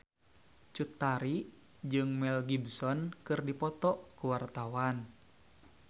Cut Tari jeung Mel Gibson keur dipoto ku wartawan